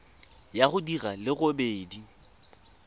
ya go di le robedi